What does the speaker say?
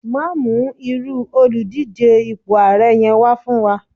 ma mu iru Oludije ipo ààrẹ yẹn wà fún wa